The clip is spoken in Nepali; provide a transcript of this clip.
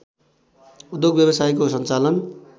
उद्योग व्यवसायको सञ्चालन